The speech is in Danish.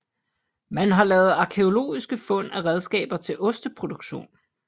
Man har lavet arkæologiske fund af redskaber til osteproduktion